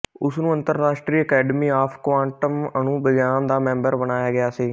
ਉਸ ਨੂੰ ਅੰਤਰਰਾਸ਼ਟਰੀ ਅਕੈਡਮੀ ਆਫ ਕੁਆਂਟਮ ਅਣੂ ਵਿਗਿਆਨ ਦਾ ਮੈਂਬਰ ਬਣਾਇਆ ਗਿਆ ਸੀ